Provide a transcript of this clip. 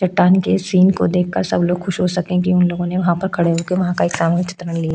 चट्टान के इस सीन को देखकर सब लोग खुश हो सकें कि उन लोगों ने वहाँ पर खड़े होके वहाँ का सामूहिक चित्र न लिया।